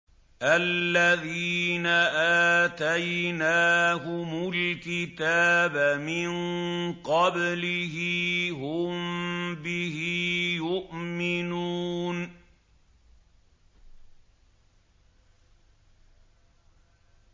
الَّذِينَ آتَيْنَاهُمُ الْكِتَابَ مِن قَبْلِهِ هُم بِهِ يُؤْمِنُونَ